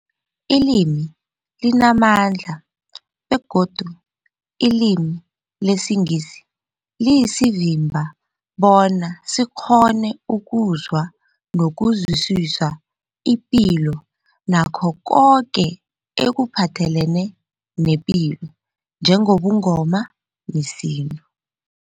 Ilimi limamandla begodu ilimi lesiNgisi liyasivimba bona sikghone ukuzwa nokuzwisisa ipilo nakho koke ekuphathelene nepilo njengobuNgoma nesintu.